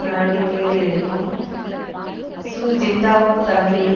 நடவடிக்கைகளை எடுக்கும் Hu Jintao தலைமையின்